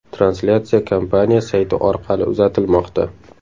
Translyatsiya kompaniya sayti orqali uzatilmoqda .